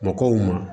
Mɔgɔw ma